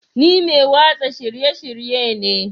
Ni mai watsa shirye-shirye ne